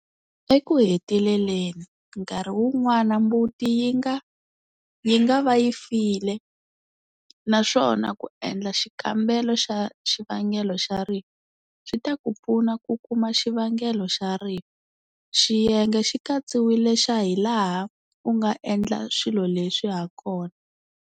Eku heteleleni, nkarhi wun'wana mbuti yi nga va yi file naswona ku endla xikambelo xa xivangelo xa rifu swi ta ku pfuna ku kuma xivangelo xa rifu, xiyenge xi katsiwile xa hilaha u nga endla swilo leswi ha kona.